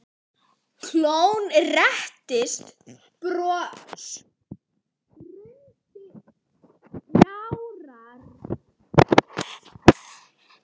Jón settist og spurði nánar.